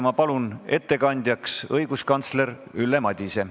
Ma palun ettekandjaks õiguskantsler Ülle Madise.